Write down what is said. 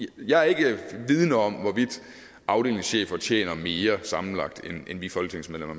give jeg er ikke vidende om hvorvidt afdelingschefer tjener mere sammenlagt end vi folketingsmedlemmer